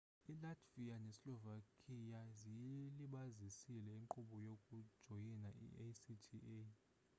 ilatvia neslovakia ziyilibazisile inkqubo yokujoyina i-acta